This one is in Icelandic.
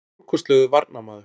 Stórkostlegur varnarmaður.